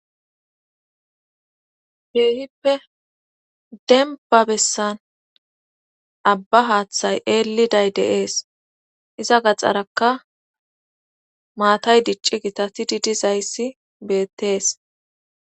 Keehippe denba bessan abba haaththay eelliday deees iza gaxxarakka maatay dicci gitatidi dizayssi beettees